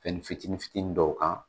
Fɛnnin fitinin fitinin dɔw kan